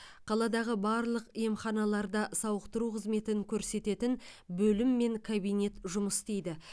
қаладағы барлық емханаларда сауықтыру қызметін көрсететін бөлім мен кабинет жұмыс істейді